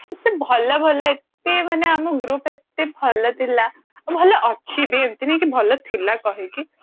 ଏତେ ଭଲ ଭଲ ଏତେ ମାନେ ଆମ group ଏତେ ଭଲ ଥିଲା ଭଲ ଅଛି ବି ଏମିତି ନାଇଁ କି ଭଲ ଥିଲା କହିକି